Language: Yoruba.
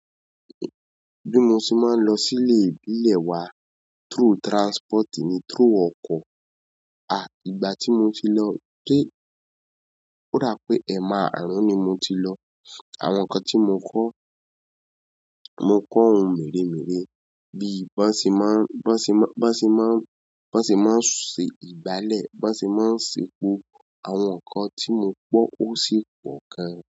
Bí mo ṣe máa ń lọ sí ilé ìbílẹ̀ wa through transport ni through ọkọ̀. A! Ìgbà tí mo ti lọ. Ó dáa pé ẹmaarun ni mo ti lọ. Àwọn ǹkan tí mo kọ. Mo kọ ohun mere-mere bí ban ṣe maan ban ṣe maan ń ban ṣe maan ṣe igbalẹ. Ban ṣe maan ṣe. Àwọn nǹkan tí mo gbọ́ ó sì pọ̀ gan.